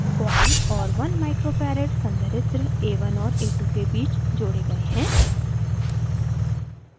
coil और 1 uf 1 micro farad संधारित्र a1 और a2 के बीच जोड़े गए हैं